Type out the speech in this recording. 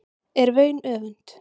er vaun öfund